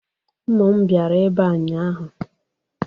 Ụmụ m bịara ebe a ụnyaahụ.